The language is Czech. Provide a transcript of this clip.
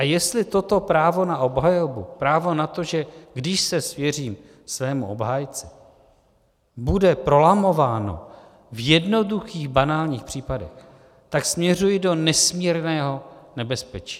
A jestli toto právo na obhajobu, právo na to, že když se svěřím svému obhájci, bude prolamováno v jednoduchých, banálních případech, tak směřuji do nesmírného nebezpečí.